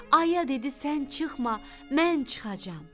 Ayə dedi sən çıxma, mən çıxacam.